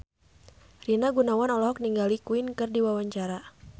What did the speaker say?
Rina Gunawan olohok ningali Queen keur diwawancara